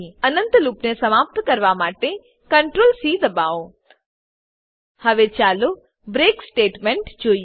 અનંત લૂપને સમાપ્ત કરવા માટે Ctrl સી દબાવો હવે ચાલો બ્રેક બ્રેક સ્ટેટમેંટ જોઈએ